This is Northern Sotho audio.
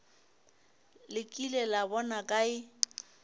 le kile la bona kae